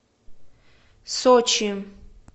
сочи